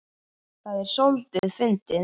Það er soldið fyndið.